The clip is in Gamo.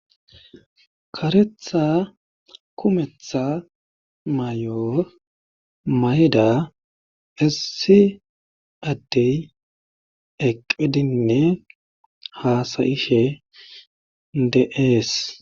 karetha kumetha mayo mayida issi addey eqqidinne haasayishe de'ees.